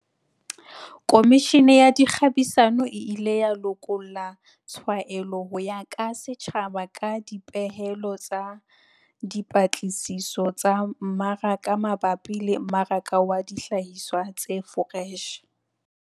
Komishene ya Dikgabisano e ile ya lokolla tshwaelo ho ya ka setjhaba ka dipehelo tsa dipatlisiso tsa mmaraka mabapi le mmaraka wa dihlahiswa tse foreshe.